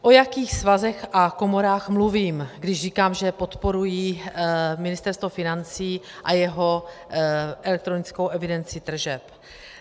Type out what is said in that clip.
O jakých svazech a komorách mluvím, když říkám, že podporují Ministerstvo financí a jeho elektronickou evidenci tržeb?